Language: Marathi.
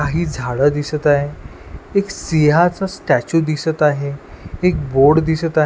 काही झाडं दिसत आहेत एक सिंहाचं स्टॅच्यू दिसत आहे एक बोर्ड दिसत --